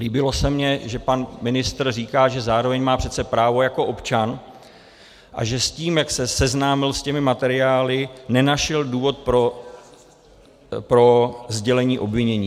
Líbilo se mi, že pan ministr říká, že zároveň má přece právo jako občan a že s tím, jak se seznámil s těmi materiály, nenašel důvod pro sdělení obvinění.